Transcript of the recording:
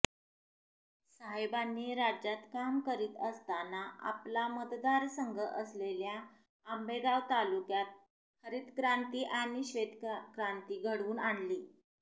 साहेबांनी राज्यात काम करीत असताना आपला मतदारसंघ असलेल्या आंबेगाव तालुक्यात हरितक्रांती आणि श्वेतक्रांती घडवून आणली